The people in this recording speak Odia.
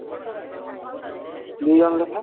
ଦିଜଣ ଲେଖା